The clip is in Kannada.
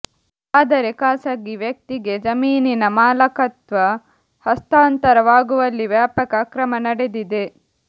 ಆದರೆ ಖಾಸಗಿ ವ್ಯಕ್ತಿಗೆ ಜಮೀನಿನ ಮಾಲಕತ್ವ ಹಸ್ತಾಂತರವಾಗುವಲ್ಲಿ ವ್ಯಾಪಕ ಅಕ್ರಮ ನಡೆದಿದೆ